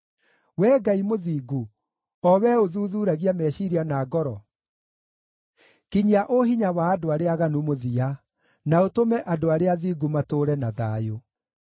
Wee Ngai mũthingu, o Wee ũthuthuuragia meciiria na ngoro, kinyia ũhinya wa andũ arĩa aaganu mũthia, na ũtũme andũ arĩa athingu matũũre na thayũ.